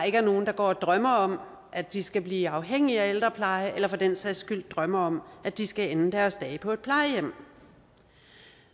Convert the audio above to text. ikke er nogen der går og drømmer om at de skal blive afhængige af ældrepleje eller for den sags skyld drømmer om at de skal ende deres dage på et plejehjem